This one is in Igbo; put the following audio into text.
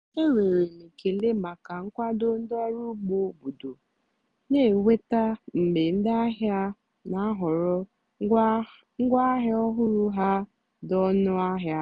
énwèrè m ékélè màkà nkwàdó ndí ọ́rụ́ ùgbó óbòdò nà-ènwètá mgbe ndí àhìá nà-àhọ̀rọ́ ngwáàhịá ọ́hụ́rụ́ há dì ónú àhịá.